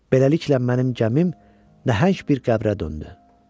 Beləliklə, mənim gəmim nəhəng bir qəbrə döndü.